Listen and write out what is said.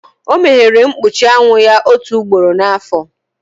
O meghere mkpuchi anwụ ya otu ugboro n'afọ.